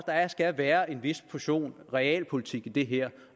skal være en vis portion realpolitik i det her